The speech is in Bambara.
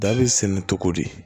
Da bɛ sɛnɛ cogo di